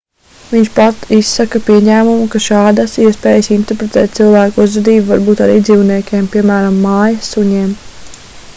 viņš pat izsaka pieņēmumu ka šādas spējas interpretēt cilvēku uzvedību var būt arī dzīvniekiem piemēram mājas suņiem